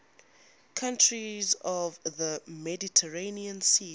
countries of the mediterranean sea